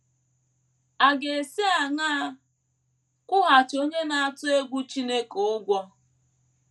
À ga - esi aṅaa kwụghachi onye na - atụ egwu Chineke ụgwọ?